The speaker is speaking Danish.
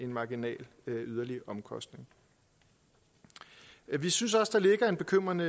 marginalt yderligere omkostning vi synes også der ligger en bekymrende